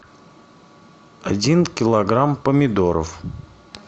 один килограмм помидоров